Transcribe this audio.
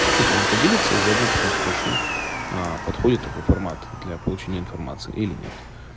хочу с вами поделиться заодно потом спрошу аа подходит такой формат для получения информации или нет